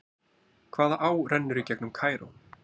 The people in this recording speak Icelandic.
Hvaða á rennur í gegnum Cairo?